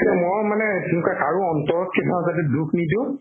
ময়ো মানে সেনেকুৱাই কাৰো অন্তৰত কেতিয়াও যাতে দুখ নিদিও